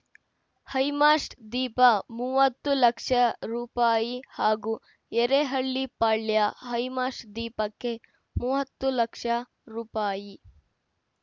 high mast ದೀಪ ಮೂವತ್ತು ಲಕ್ಷ ರೂಪಾಯಿ ಹಾಗೂ ಎರೇಹಳ್ಳಿ ಪಾಳ್ಯ ಹೈಮಾಸ್ಟ್ ದೀಪಕ್ಕೆ ಮೂವತ್ತು ಲಕ್ಷ ರೂಪಾಯಿ